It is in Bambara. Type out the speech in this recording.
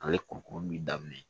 Ale kurukuru bɛ daminɛ